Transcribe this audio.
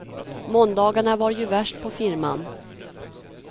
Måndagarna var ju värst på firman.